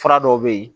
Fura dɔw bɛ yen